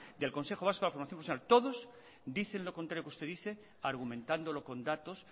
del consejo vasco de la formación profesional dicen lo contrario que usted dice argumentando con datos